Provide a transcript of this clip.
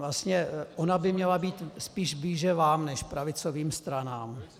Vlastně ona by měla být spíše blíže vám než pravicovým stranám.